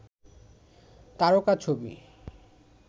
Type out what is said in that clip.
তারকা ছবি